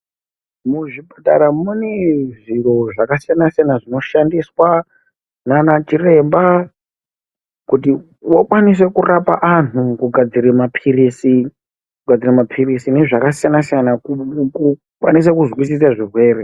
Muzvipatara mune zviro zvakasiyana siyana zvinoshandiswa nana chiremba kuti vakwanise kurapa anhu kugadzire maphirizi kugadzire maphirizi nezvakasiyana siyana ku kukwanisa kuzvisise zvirwere.